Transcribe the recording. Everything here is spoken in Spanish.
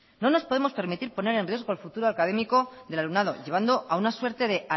no nos podemos permitir poner en riesgo el futuro académico del alumnado llevando a una suerte de